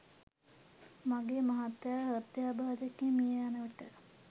මගේ මහත්මයා හෘදයාබාධයකින් මිය යන විට